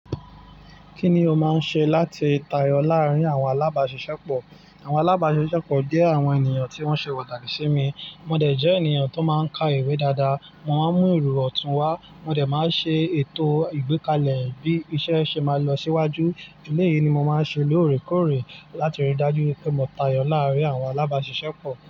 Kí ni o máa ń ṣe láti tayọ láàárín àwọn alábàáṣiṣẹ́ pọ̀? Àwọn alábàáṣiṣẹ́ pọ̀ jẹ́ àwọn ènìyàn tí wọ́n ṣe pataki si mi. Mo dẹ̀ jẹ́ ènìyàn tó máa ń ka ìwé dáadáa, mo máa ń mú ìro ọ̀tún wá, mo dẹ̀ máa ń ṣe ètò ìgbékalẹ̀ bí iṣẹ́ ṣe máa lọ síwájú. Eléyìí ni mo máa ń ṣe lóòrèkóòrè láti rí i dájú pé mo tayọ láàárín àwọn alábáṣiṣẹ́ pọ̀.